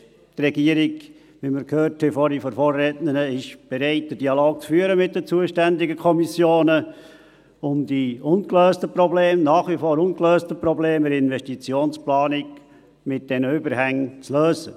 Wie wir vorhin von der Vorrednerin gehört haben, ist die Regierung bereit, den Dialog mit den zuständigen Kommissionen zu führen, um die ungelösten Probleme, die nach wie vor ungelösten Probleme in der Investitionsplanung mit diesen Überhängen zu lösen.